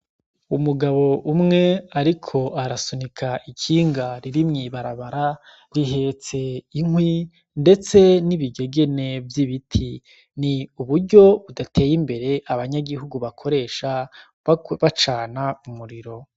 Umugabo umwe ariko arasunika ikinga rihetse inkwi mw'ibarabara n'ibigegene vy'ibiti. Uburyo budate